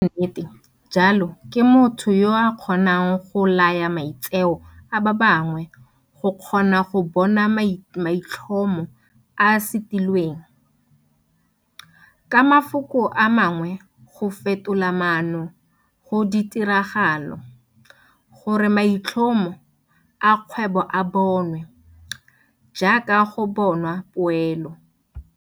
Moeteledipele wa nnete jalo ke motho yo a kgonang go laya maitseo a ba bangwe go kgona go bona maitlhomo a a setilweng, ka mafoko a mangwe go fetola maano go ditiragalo, gore maitlhomo a kgwebo a bonwe, jaaka go bona poelo.